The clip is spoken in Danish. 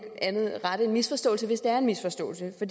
andet rette en misforståelse hvis det er en misforståelse for